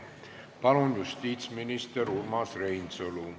Palun, justiitsminister Urmas Reinsalu!